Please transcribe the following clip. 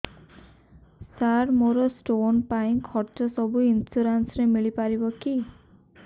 ସାର ମୋର ସ୍ଟୋନ ପାଇଁ ଖର୍ଚ୍ଚ ସବୁ ଇନ୍ସୁରେନ୍ସ ରେ ମିଳି ପାରିବ କି